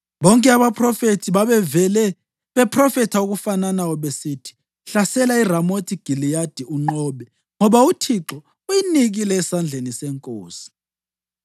Bonke abaphrofethi babevele bephrofetha okufananayo besithi, “Hlasela iRamothi Giliyadi unqobe, ngoba uThixo uyinikile esandleni senkosi.”